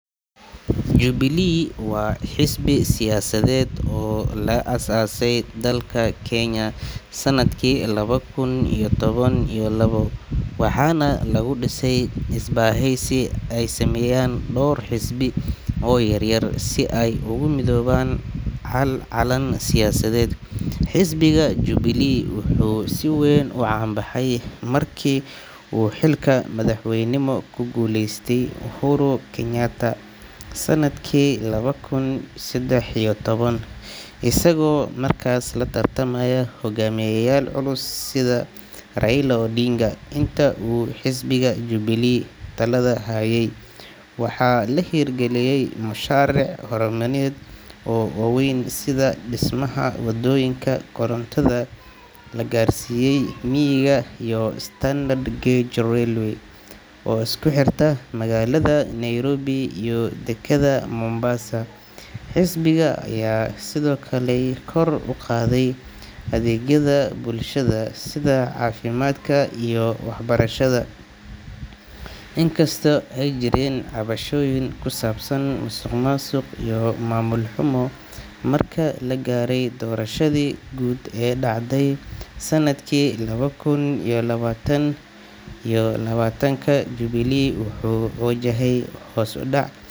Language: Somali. Jubilee waa xisbi siyaasadeed oo laga aasaasay dalka Kenya sanadkii laba kun iyo toban iyo labo, waxaana lagu dhisay isbahaysi ay sameeyeen dhowr xisbi oo yaryar si ay ugu midoobaan hal calan siyaasadeed. Xisbiga Jubilee wuxuu si weyn u caan baxay markii uu xilka madaxweynenimo ku guuleystay Uhuru Kenyatta sanadkii laba kun iyo saddex iyo toban, isagoo markaas la tartamay hogaamiyayaal culus sida Raila Odinga. Intii uu xisbiga Jubilee talada hayay, waxaa la hirgeliyay mashaariic horumarineed oo waaweyn sida dhismaha waddooyinka, korontada la gaarsiiyay miyiga, iyo Standard Gauge Railway (SGR) oo isku xirta magaalada Nairobi iyo dekedda Mombasa. Xisbiga ayaa sidoo kale kor u qaaday adeegyada bulshada sida caafimaadka iyo waxbarashada, inkastoo ay jireen cabashooyin ku saabsan musuqmaasuq iyo maamul xumo. Marka la gaaray doorashadii guud ee dhacday sanadkii laba kun iyo labaatan iyo labaatanka, Jubilee wuxuu wajahaya hoos u dhac.